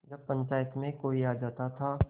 जब पंचायत में कोई आ जाता था